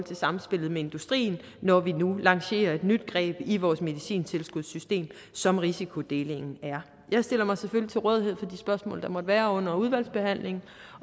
til samspillet med industrien når vi nu lancerer et nyt greb i vores medicintilskudssystem som risikodelingen er jeg stiller mig selvfølgelig til rådighed for de spørgsmål der måtte være under udvalgsbehandlingen